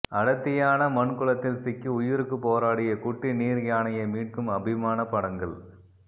அடர்த்தியான மண் குளத்தில் சிக்கி உயிருக்கு போராடிய குட்டி நீர்யானையை மீட்கும் அபிமான படங்கள்